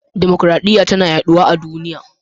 Dimokuradiyya tana yaduwa a duniya.